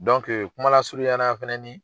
kumala surunya na fɛnɛni